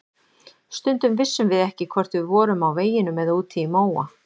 Stundum vissum við ekki hvort við vorum á veginum eða úti í móa.